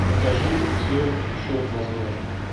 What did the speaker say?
покажи все еще возможно